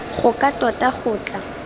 go ka tota go tla